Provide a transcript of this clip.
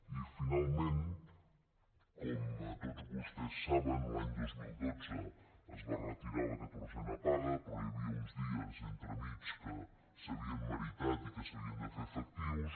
i finalment com tots vostès saben l’any dos mil dotze es va retirar la catorzena paga però hi havia uns dies entremig que s’havien meritat i que s’havien de fer efectius